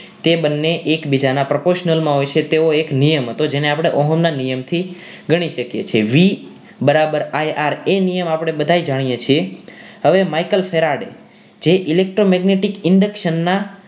તે બંને એકબીજાના proportional માં હોય છે તેઓ એક નિયમ જેને આપણે ઓહમ ના નિયમ થી ગણી શકીએ છીએ વી બરાબર આઈ આર એ નિયમ આપણે બધાએ જાણીએ છીએ હવે Michael Faraday જે electromagnetic induction ના